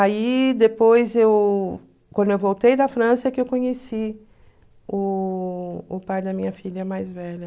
Aí depois, eu... quando eu voltei da França, é que eu conheci o o pai da minha filha mais velha.